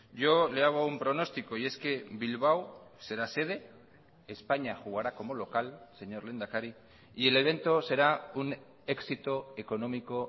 yo le hago un pronóstico y es que bilbao será sede españa jugará como local señor lehendakari y el evento será un éxito económico